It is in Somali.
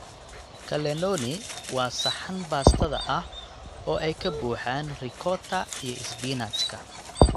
Cannelloni waa saxan baastada ah oo ay ka buuxaan ricotta iyo isbinaajka.